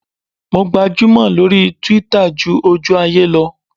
Mo gbajúmò lórí Twitter ju ojú ayé lọ.